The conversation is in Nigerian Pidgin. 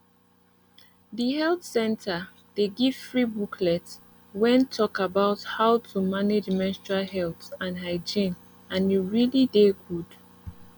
the health center dey give free booklets wen talk about how to manage menstrual health and hygiene and e really dey good